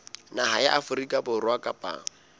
naha ya afrika borwa kapa